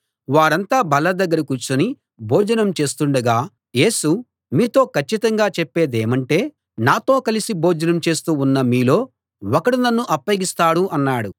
వారంతా బల్ల దగ్గర కూర్చుని భోజనం చేస్తుండగా యేసు మీతో కచ్చితంగా చెప్పేదేమంటే నాతో కలిసి భోజనం చేస్తూ ఉన్న మీలో ఒకడు నన్ను అప్పగిస్తాడు అన్నాడు